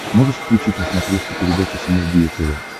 можешь включить на смотрешке передачу синергия тв